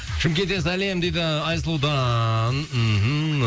шымкенттен сәлем дейді айсұлудан мхм